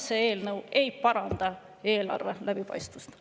See eelnõu ei paranda eelarve läbipaistvust.